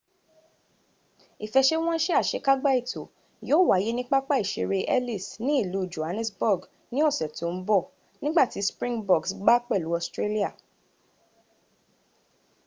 ifesewonse asekagba eto yio waye ni papa isere ellis ni ilu johannesburg ni ose tin b nigba ti springboks gba pelu australi